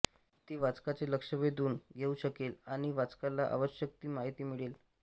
ती वाचकाचे लक्ष वेधून घेऊ शकेल आणि वाचकाला आवश्यक ती माहिती मिळेल